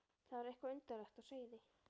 Það var eitthvað undarlegt á seyði.